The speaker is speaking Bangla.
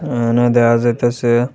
এহানে দেহা যাইতাসে--